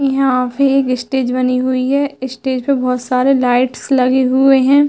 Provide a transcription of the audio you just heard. यहाँ पे एक स्टेज बनी हुई है। स्टेज पे बहोत सारे लाइट्स लगे हुए है।